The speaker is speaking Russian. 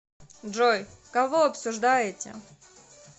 джой кого обсуждаете